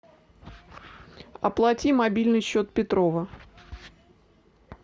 оплати мобильный счет петрова